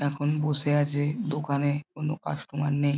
এখন বসে আছে দোকানে কোনো কাস্টমার নেই।